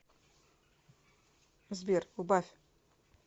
сбер убавь